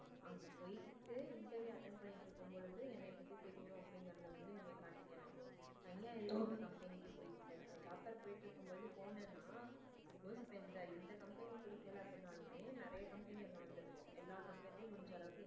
அப்படிங்கறத நீங்க காட்டிக்கனும் தனியா எதுக்கு நீங்க company போய்க்கிட்டு job fair போய்கிட்டு இருக்கும்போது போனினா இந்த company புடிக்கல நாளுமே நிறைய company வந்திருக்கும் எல்லா company லும் முடிஞ்ச அளவுக்கு.